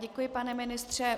Děkuji, pane ministře.